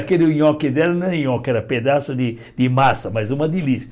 Aquele nhoque dela não é nhoque, era pedaço de de massa, mas uma delícia.